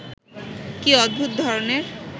কি অদ্ভুত ধরনের